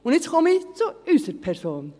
Und jetzt komme ich zu unserer Person!